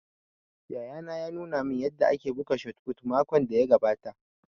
Yayana ya nuna man yanda ake buga shot fut makon da ya gabata